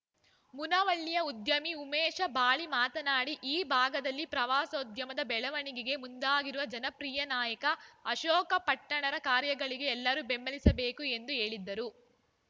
ಮುನವಳ್ಳಿಯ ಉದ್ಯಮಿ ಉಮೇಶ ಬಾಳಿ ಮಾತನಾಡಿ ಈ ಭಾಗದಲ್ಲಿ ಪ್ರವಾಸೋಧ್ಯಮದ ಬೆಳವಣಿಗೆಗೆ ಮುಂದಾಗಿರುವ ಜನಪ್ರೀಯ ನಾಯಕ ಅಶೋಕ ಪಟ್ಟಣರ ಕಾರ್ಯಗಳಿಗೆ ಎಲ್ಲರೂ ಬೆಂಬಲಿಸಬೇಕು ಎಂದು ಹೇಳಿದರು